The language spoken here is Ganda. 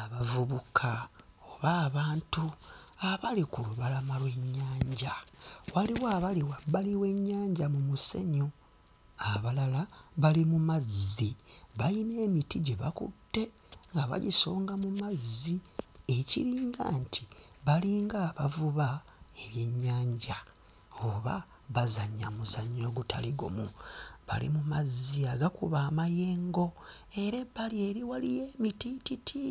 Abavubuka oba abantu abali ku lubalama lw'ennyanja waliwo abali wabali w'ennyanja mu musenyu abalala bali mu mazzi balina emiti gye bakutte nga bagisonga mu mazzi ekiringa nti balinga abavuba ebyennyanja oba bazannya muzannyo ogutali gumu bali mu mazzi agakuba amayengo era ebbali eri waliyo emitiititi